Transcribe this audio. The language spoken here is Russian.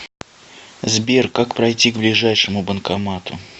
сбер как пройти к ближайшему банкомату